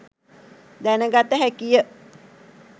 දැන ගත හැකි ය.